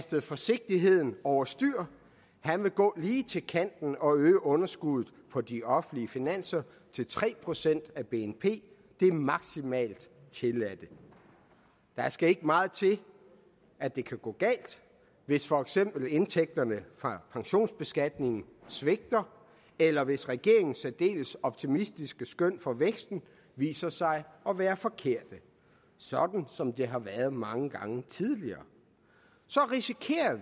sat forsigtigheden over styr han vil gå lige til kanten og øge underskuddet på de offentlige finanser til tre procent af bnp det maksimalt tilladte der skal ikke meget til at det kan gå galt hvis for eksempel indtægterne fra pensionsbeskatningen svigter eller hvis regeringens særdeles optimistiske skøn for væksten viser sig at være forkerte sådan som de har været mange gange tidligere